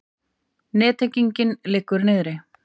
Nettenging liggur niðri